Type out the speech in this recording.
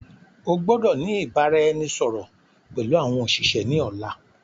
O gbọ́dọ̀ ni ìbáraẹnisọọ̀rọ̀ pẹlu àwọn òṣìṣẹ́ ni ọ̀la.